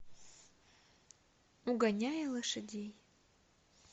угоняя лошадей